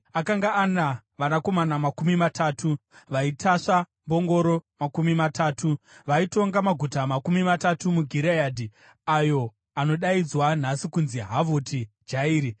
Akanga ana vanakomana makumi matatu, vaitasva mbongoro makumi matatu. Vaitonga maguta makumi matatu muGireadhi, ayo anodaidzwa nhasi kunzi Havhoti Jairi.